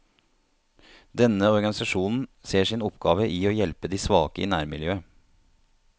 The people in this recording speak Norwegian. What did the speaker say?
Denne organisasjonen ser sin oppgave i å hjelpe de svake i nærmiljøet.